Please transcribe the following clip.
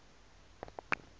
mm p moitse